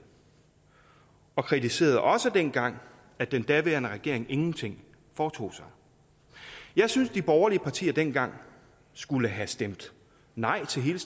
og de kritiserede også dengang at den daværende regering ingenting foretog sig jeg synes de borgerlige partier dengang skulle have stemt nej til hele